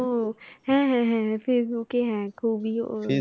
হ্যাঁ হ্যাঁ হ্যাঁ হ্যাঁ ফেইসবুক এ হ্যাঁ খুবই,